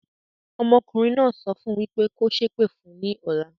Ọmọkùnrin náà sọ fún wípé "kò sépè fún ní ọ̀la".